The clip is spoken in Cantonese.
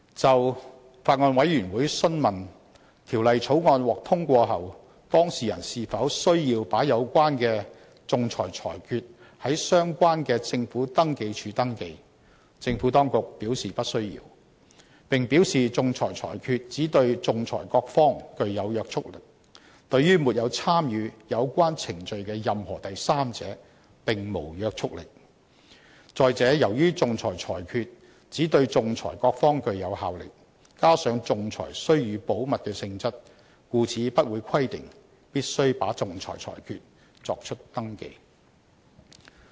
就法案委員會詢問，《條例草案》獲通過後，當事人是否需要把有關的仲裁裁決在相關的政府登記處登記，政府當局表示不需要，並表示仲裁裁決只對仲裁各方具有約束力，對於沒有參與有關程序的任何第三者，並無約束力；再者，由於仲裁裁決只對仲裁各方具有效力，加上仲裁須予保密的性質，故此不會規定必須把仲裁裁決作出登記。